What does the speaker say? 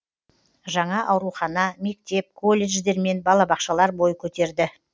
жаңа аурухана мектеп колледждер мен балабақшалар бой көтерді